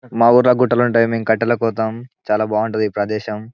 మా ఊర్లో గుట్టలుంటాయి మేం కట్టెలకు పోతాము చాలా బాగుంటది ఈ ప్రదేశం.